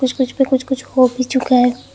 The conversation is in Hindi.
कुछ कुछ पे कुछ कुछ हो भी चुका है।